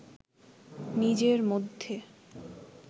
নিজের মধ্যে